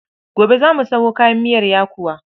gobe za mu Sayo kayan miyar yakuwa